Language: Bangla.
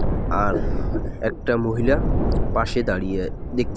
আর একটা মহিলা পাশে দাঁড়িয়ে দেখতে--